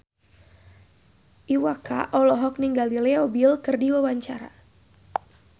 Iwa K olohok ningali Leo Bill keur diwawancara